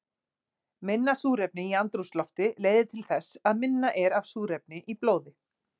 Minna súrefni í andrúmslofti leiðir til þess að minna er af súrefni í blóði.